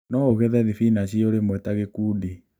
Noũgethe thibinachi o rĩmwe ta gĩkundi